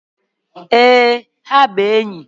Ee, ha bụ enyi